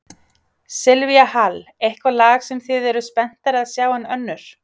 Silvía Hall: Eitthvað lag sem þið eruð spenntari að sjá en önnur?